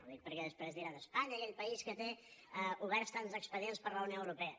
ho dic perquè després diran espanya aquell país que té oberts tants expedients per la unió europea